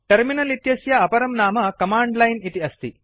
terminal इत्यस्य अपरं नाम कमाण्ड लाइन् इति अस्ति